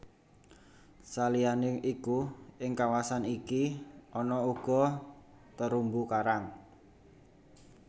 Saliyané iku ing kawasan iki ana uga terumbu karang